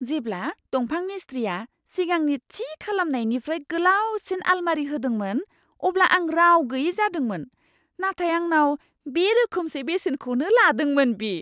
जेब्ला दंफां मिस्थ्रिआ सिगांनि थि खालामनायनिफ्राय गोलावसिन आलमारि होदोंमोन, अब्ला आं राव गैयै जादोंमोन, नाथाय आंनाव बे रोखोमसे बेसेनखौनो लादोंमोन बि!